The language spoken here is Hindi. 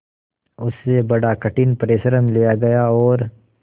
उससे बड़ा कठिन परिश्रम लिया गया और